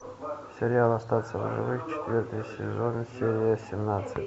сериал остаться в живых четвертый сезон серия семнадцать